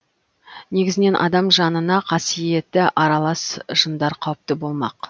негізінен адам жанына қасиеті аралас жындар қауіпті болмақ